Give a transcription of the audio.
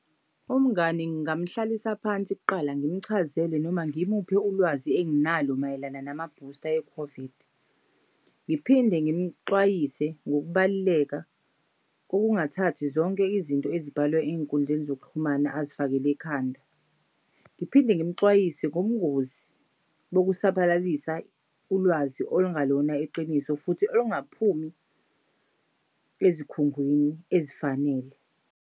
Umngani ngingamhlalisa phansi kuqala ngimchazele noma ngimuphe ulwazi enginalo mayelana nama-booster e-COVID. Ngiphinde ngimxwayise ngokubaluleka kokungathathi zonke izinto ezibhalwa ey'nkundleni zokuxhumana azifakel'ekhanda. Ngiphinde ngimxwayise ngobungozi bokusabalalisa ulwazi olungalona iqiniso futhi olungaphumi ezikhungweni ezifanele.